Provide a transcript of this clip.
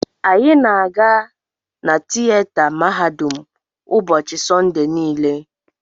Anyị na-aga na tieta mahadum ụbọchị Sọnde niile.